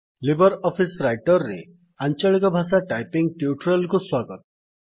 Libre Office Writer ରେ ଆଂଚଳିକ ଭାଷା ଟାଇପିଙ୍ଗ୍ - ଟ୍ୟୁଟୋରିଆଲ୍ କୁ ସ୍ୱାଗତ